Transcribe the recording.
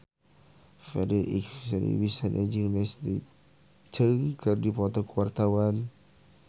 Farri Icksan Wibisana jeung Leslie Cheung keur dipoto ku wartawan